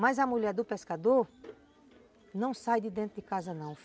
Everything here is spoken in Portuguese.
Mas a mulher do pescador não sai de dentro de casa, não.